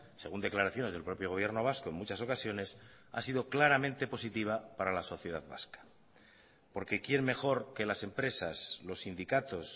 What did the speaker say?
según declaraciones del propio gobierno vasco en muchas ocasiones ha sido claramente positiva para la sociedad vasca porque quien mejor que las empresas los sindicatos